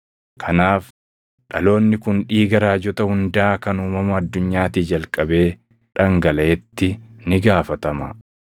Kanaaf dhaloonni kun dhiiga raajota hundaa kan uumama addunyaatii jalqabee dhangalaʼetti ni gaafatama;